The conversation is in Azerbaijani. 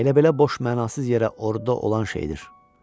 Elə belə boş mənasız yerə orduda olan şeydir.